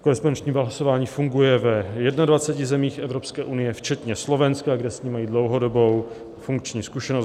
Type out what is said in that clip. Korespondenční hlasování funguje v 21 zemích Evropské unie včetně Slovenska, kde s ním mají dlouhodobou funkční zkušenost.